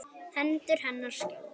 Hendur hennar skjálfa.